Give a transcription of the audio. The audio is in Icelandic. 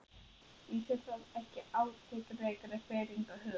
Lýsir það ekki átakanlegri firringu hugans?